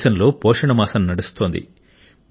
దేశంలో పోషణ మాసము నడుస్తోంది